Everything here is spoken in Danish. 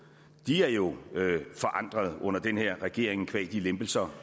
er jo forandrede under den her regering qua de lempelser